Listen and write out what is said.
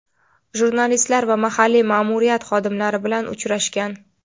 jurnalistlar va mahalliy ma’muriyat xodimlari bilan uchrashgan.